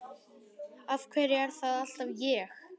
Af hverju er það alltaf ég?